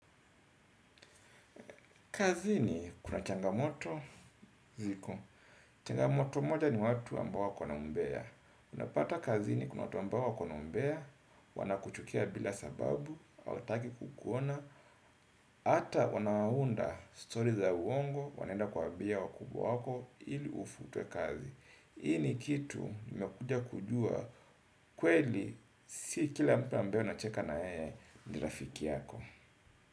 Kazini kuna changamoto, ziko. Changamoto moja ni watu ambao wako na umbea. Unapata kazini kuna watu ambao wako na umbea, wanakuchukia bila sababu, hawataki kukuona, hata wanaunda story za uongo, wanaenda kuambia wakubwa wako, ili ufutwe kazi. Ii ni kitu, nimekuja kujua, kweli, si kila mtu ambaye unacheka na yeye, ni rafiki yako.